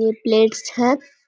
ये प्लेट्स है ।